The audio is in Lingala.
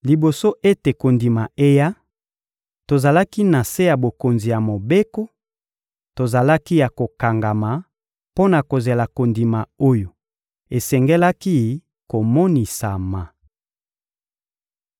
Liboso ete kondima eya, tozalaki na se ya bokonzi ya Mobeko, tozalaki ya kokangama mpo na kozela kondima oyo esengelaki komonisama.